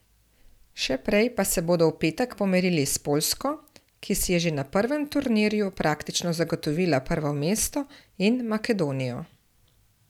Še prej pa se bodo v petek pomerili s Poljsko, ki si je že na prvem turnirju praktično zagotovila prvo mesto, in Makedonijo.